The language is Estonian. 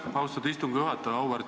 Aitäh, austatud istungi juhataja!